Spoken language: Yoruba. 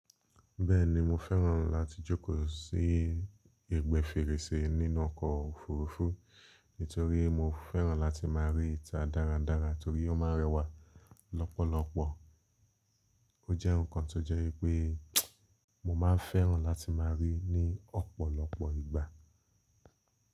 Bẹ́ẹ̀ni mo fẹ́ràn láti jókòó sí ẹgbẹ́ fèrèsé nínú ọkọ̀ òfurufú torí mo fẹ́ràn láti má rí ìta dáradára torí ó ma rẹwà lọ́pọ̀lọpọ̀. O jẹ́ ǹkan tó jẹ́ wipé mo ma n fẹ́ràn láti má a rí ní ọ̀pọ̀lọpọ̀ ìgbà.